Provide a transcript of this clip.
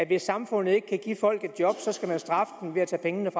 hvis samfundet ikke kan give folk et job så skal straffe dem ved at tage pengene